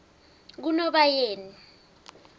kunobayeni